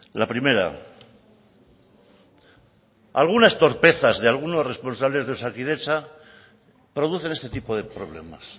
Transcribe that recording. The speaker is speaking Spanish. la primera algunas torpezas de algunos responsables de osakidetza producen este tipo de problemas